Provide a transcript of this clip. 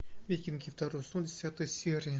викинги второй сезон десятая серия